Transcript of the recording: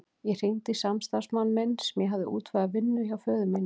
Ég hringdi í samstarfsmann minn sem ég hafði útvegað vinnu hjá föður mínum.